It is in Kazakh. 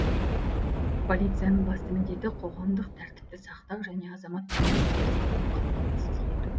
полицияның басты міндеті қоғамдық тәртіпті сақтау және азаматтардың қауіпсіздігін қамтамасыз ету